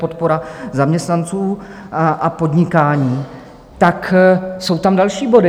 Podpora zaměstnanců a podnikání, tak jsou tam další body.